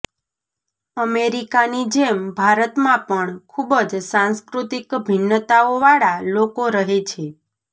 અમેરિકાની જેમ ભારતમાં પણ ખૂબ જ સાંસ્કૃતિક ભિન્નતાઓવાળા લોકો રહે છે